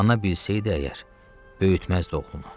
Ana bilsəydi əgər, böyütməzdi oğlunu.